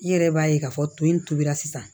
I yɛrɛ b'a ye k'a fɔ to in tobira sisan